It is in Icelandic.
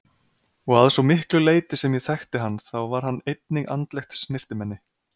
Og að svo miklu leyti sem ég þekkti hann þá var hann einnig andlegt snyrtimenni.